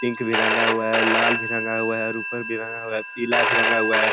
Pink भी रंगा हुआ है और लाल भी रंगा हुआ है और ऊपर भी रंगा हुआ है पीला भी रंगा हुआ है।